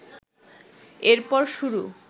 এরপর শুরু